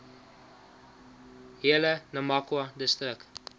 hele namakwa distrik